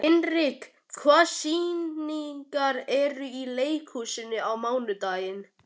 Hinrika, hvaða sýningar eru í leikhúsinu á mánudaginn?